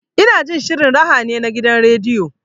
Ina jin shirin raha ne na gidan rediyo.